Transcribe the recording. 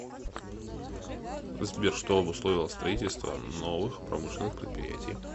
сбер что обусловило строительство новых промышленных предприятий